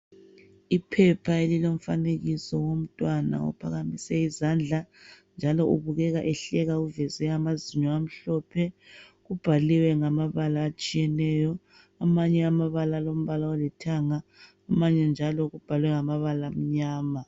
Iphepha elomfanekiso womntwana okhanya ephakamise isandla. Njalo ubukeka ehleka uveze amazinyo amhlophe. Kubhaliwe ngamabala ngamabala etshiyeneyo. Amanye amabala alombala olithanga amanye njalo kubhalwe ngamabala amnyama.